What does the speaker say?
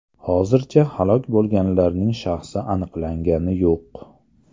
Hozircha halok bo‘lganlarning shaxsi aniqlangani yo‘q.